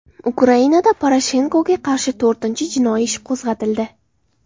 Ukrainada Poroshenkoga qarshi to‘rtinchi jinoiy ish qo‘zg‘atildi.